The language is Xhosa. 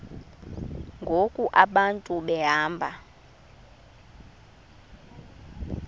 ngoku abantu behamba